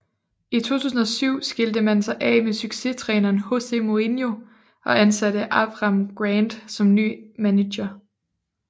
I 2007 skilte man sig af med succestræneren José Mourinho og ansatte Avram Grant som ny manager